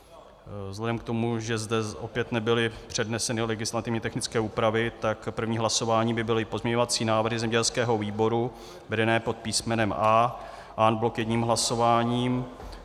Vzhledem k tomu, že zde opět nebyly předneseny legislativně technické úpravy, tak první hlasování by byly pozměňovací návrhy zemědělského výboru vedené pod písmenem A en bloc jedním hlasováním.